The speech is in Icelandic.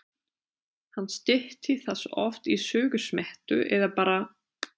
Hann stytti það oft í Sögusmettu eða bara